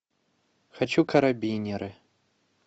хочу карабинеры